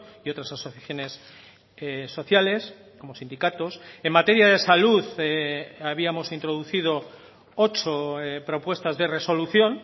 y otras asociaciones sociales como sindicatos en materia de salud habíamos introducido ocho propuestas de resolución